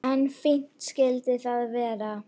En fínt skyldi það vera!